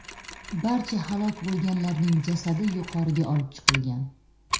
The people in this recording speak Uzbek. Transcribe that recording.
Barcha halok bo‘lganlarning jasadi yuqoriga olib chiqilgan.